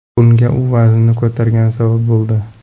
Bunga u vaznini ko‘targani sabab bo‘ldi.